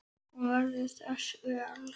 Hún verður þess vör.